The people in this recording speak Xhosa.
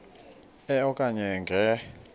e okanye nge